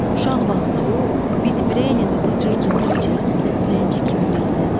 Uşaq vaxtı o, bit-birə ilə dolu cır-cındır içərisində dilənçi kimi veyillənirdi.